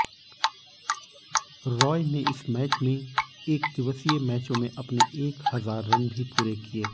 रॉय ने इस मैच में एकदिवसीय मैचों में अपने एक हजार रन भी पूरे किए